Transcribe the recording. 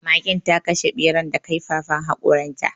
Magen ta kashe ɓeran da kaifafan haƙoran ta